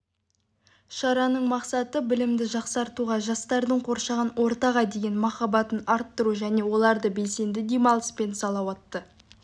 шараның мақсаты білімді жақсартуға жастардың қоршаған ортаға деген махаббатын арттыру және оларды белсенді демалыс пен салауатты